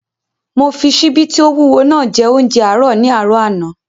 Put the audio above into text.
Mo fi ṣíbí tí ó wúwo naa jẹ óúnjẹ àárọ̀ ní àárọ̀ àná